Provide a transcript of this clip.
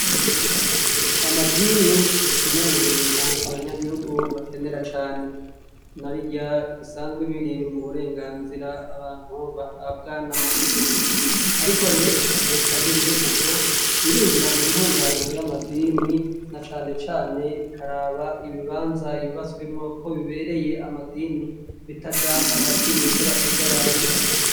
Amadini nikimwe mubintu abanyagihugu bakenera cane namwaburya bisanzwe biri muburwnganzira abantu bahabwa n'amategeko. Ariko rero reta ntibirekuko irinjira muntunganyo y'amadini nacanecane ikaraba ibibanza yubatswemwo ko bibereye amadini bitaja hagati munyubako z'abantu.